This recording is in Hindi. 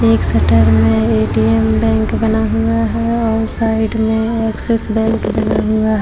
एक शटर में ए_टी_एम बैंक बना हुआ है और साइड में एक्सिस बैंक बना हुआ --